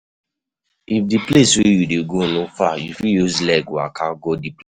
If di place wey you dey go no far, you fit use leg waka go di place